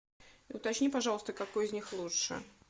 уточни пожалуйста какой из них лучше